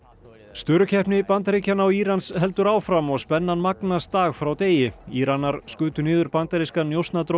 störukeppni Bandaríkjanna og Írans heldur áfram og spennan magnast dag frá degi Íranar skutu niður bandarískan